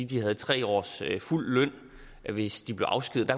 de havde tre års fuld løn hvis de blev afskediget